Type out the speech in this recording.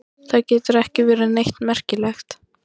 Það getur ekki verið neitt merkilegt.